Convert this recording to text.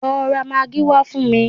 Lọ ra magí wá fún mi!